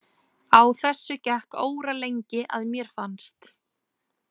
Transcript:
Á þessu gekk óralengi að mér fannst.